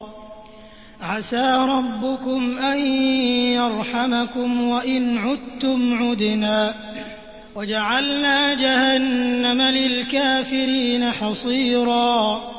عَسَىٰ رَبُّكُمْ أَن يَرْحَمَكُمْ ۚ وَإِنْ عُدتُّمْ عُدْنَا ۘ وَجَعَلْنَا جَهَنَّمَ لِلْكَافِرِينَ حَصِيرًا